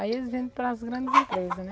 Aí eles vendem para as grandes empresa, né?